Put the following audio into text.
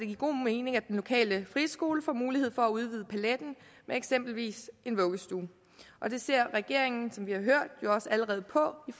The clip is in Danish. give god mening at den lokale friskole får mulighed for at udvide paletten med eksempelvis en vuggestue og det ser regeringen som vi har hørt jo også allerede på i